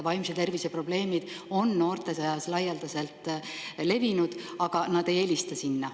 Vaimse tervise probleemid on noorte seas laialdaselt levinud, aga nad ei helista sinna.